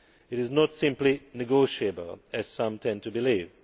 It is not simply negotiable', as some tend to believe.